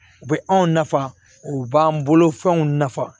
U bɛ anw nafa u b'an bolofɛnw nafa